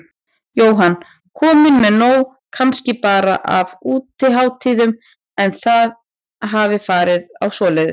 Jóhann: Komin með nóg kannski bara af útihátíðum, ef þið hafið farið á svoleiðis?